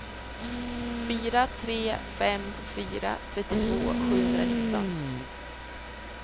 fyra tre fem fyra trettiotvå sjuhundranitton